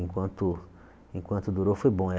Enquanto enquanto durou, foi bom.